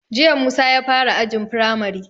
Jiya Musa ya fara ajin firamari